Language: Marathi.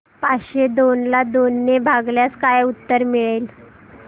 पाचशे दोन ला दोन ने भागल्यास काय उत्तर मिळेल